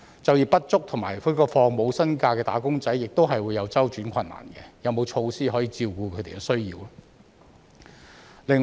就業不足及放取無薪假的"打工仔"亦會有周轉困難，有沒有措施可以照顧他們的需要呢？